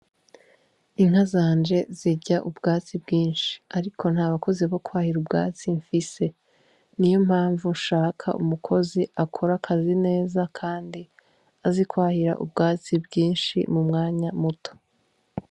Inka zanje zirya ubwatsi bwinshi, ariko nta bakozi bo kwahira ubwatsi mfise ni yo mpamvu nshaka umukozi akora akazi neza, kandi azikwahira ubwatsi bwinshi mu mwanya muto.